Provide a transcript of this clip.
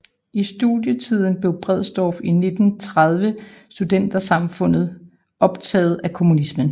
I studietiden blev Bredsdorff i 1930 Studentersamfundet optaget af kommunismen